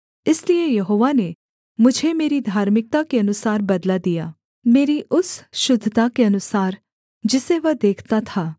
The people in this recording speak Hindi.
इसलिए यहोवा ने मुझे मेरी धार्मिकता के अनुसार बदला दिया मेरी उस शुद्धता के अनुसार जिसे वह देखता था